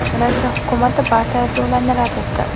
Rossiya hukumati barcha ayblovlarni rad etdi.